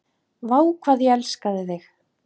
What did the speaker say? Vá, hvað ég elskaði þig.